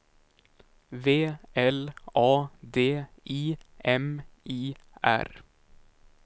V L A D I M I R